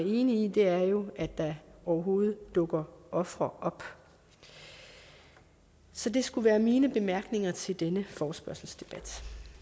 i er jo at der overhovedet dukker ofre op så det skulle være mine bemærkninger til denne forespørgselsdebat